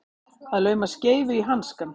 Að lauma skeifu í hanskann